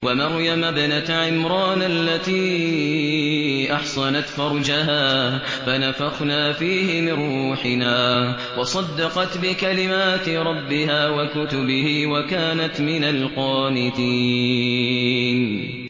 وَمَرْيَمَ ابْنَتَ عِمْرَانَ الَّتِي أَحْصَنَتْ فَرْجَهَا فَنَفَخْنَا فِيهِ مِن رُّوحِنَا وَصَدَّقَتْ بِكَلِمَاتِ رَبِّهَا وَكُتُبِهِ وَكَانَتْ مِنَ الْقَانِتِينَ